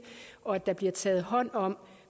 og at der bliver taget hånd om